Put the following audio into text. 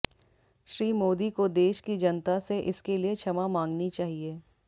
श्री मोदी को देश की जनता से इसके लिए क्षमा मांगनी चाहिए